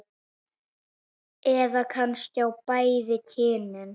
Eða kannski á bæði kynin?